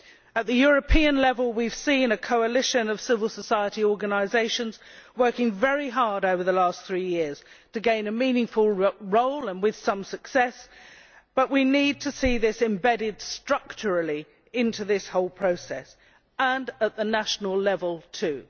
At the European level, we have seen a coalition of civil society organisations working very hard over the last few years to gain a meaningful role, and with some success. But we need to see this embedded structurally into this whole process at national level